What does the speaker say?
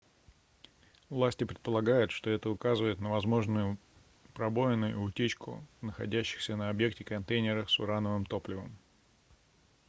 власти предполагают что это указывает на возможную пробоину и утечку в находящихся на объекте контейнерах с урановым топливом